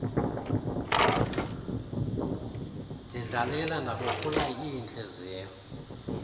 ndidlalile ndabophula iintliziyo